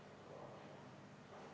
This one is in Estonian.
Avan läbirääkimised.